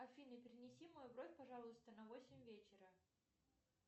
афина перенеси мою бронь пожалуйста на восемь вечера